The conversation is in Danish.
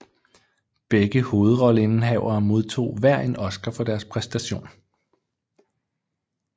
Begge hovedrolleindehavere modtog hver en Oscar for deres præstation